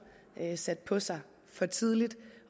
sat på sig for tidligt